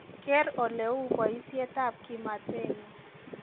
keer oleu boisiet ab kimatenyun